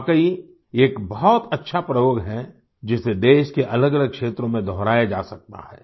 वाकई ये एक बहुत अच्छा प्रयोग है जिसे देश के अलगअलग क्षेत्रों में दोहराया जा सकता है